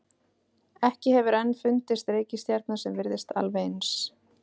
Ekki hefur enn fundist reikistjarna sem virðist alveg eins.